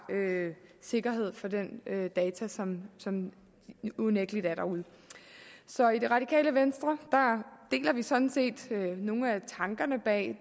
sikkerhed for de data som som unægtelig er derude så i det radikale venstre deler vi sådan set nogle af tankerne bag